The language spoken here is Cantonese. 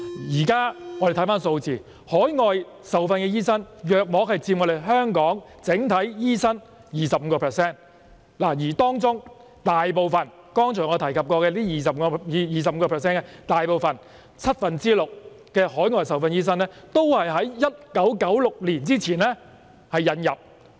大家看看現時的有關數字，海外受訓醫生佔香港整體醫生約 25%， 而在這 25% 當中，大部分海外受訓醫生均是在1996年前引入的。